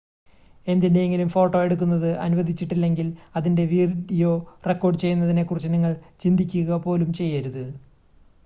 എന്തിൻ്റെയെങ്കിലും photo എടുക്കുന്നത് അനുവദിച്ചിട്ടില്ലെങ്കിൽ അതിൻ്റെ വീഡിയോ റെക്കോർഡ് ചെയ്യുന്നതിനെ കുറിച്ച് നിങ്ങൾ ചിന്തിക്കുക പോലും ചെയ്യരുത്